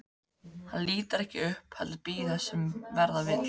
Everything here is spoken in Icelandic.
Hann lítur ekki upp heldur bíður þess sem verða vill.